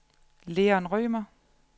Leon Rømer